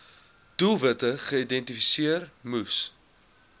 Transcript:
doelwitte geïdentifiseer moes